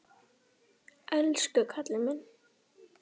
Elsku kallinn minn.